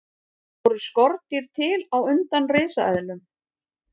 Voru skordýr til á undan risaeðlum?